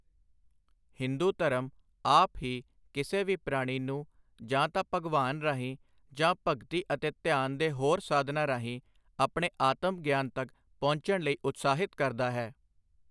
ਹਿੰਦੂ ਧਰਮ ਆਪ ਹੀ ਕਿਸੇ ਵੀ ਪ੍ਰਾਣੀ ਨੂੰ ਜਾਂ ਤਾਂ ਭਗਵਾਨ ਰਾਹੀਂ ਜਾਂ ਭਗਤੀ ਅਤੇ ਧਿਆਨ ਦੇ ਹੋਰ ਸਾਧਨਾਂ ਰਾਹੀਂ ਆਪਣੇ ਆਤਮ ਗਿਆਨ ਤੱਕ ਪਹੁੰਚਣ ਲਈ ਉਤਸ਼ਾਹਿਤ ਕਰਦਾ ਹੈ।